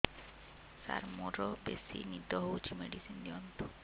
ସାର ମୋରୋ ବେସି ନିଦ ହଉଚି ମେଡିସିନ ଦିଅନ୍ତୁ